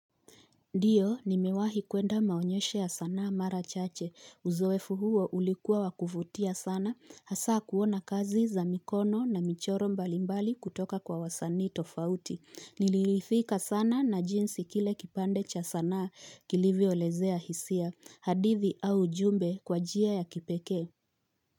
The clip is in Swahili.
Ndiyo nimewahi kuenda maonyesho ya sanaa mara chache uzowefu huo ulikuwa wakuvutia sana hasaa kuona kazi za mikono na michoro mbalimbali kutoka kwa wasanii tofauti nililithika sana na jinsi kile kipande cha sanaa kilivyolezea hisia hadithi au ujumbe kwa jia ya kipeke.